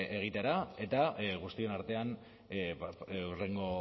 egitera eta guztion artean hurrengo